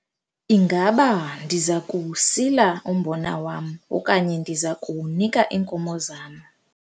Ingaba ndiza kuwusila umbona wam okanye ndiza kuwunika iinkomo zam?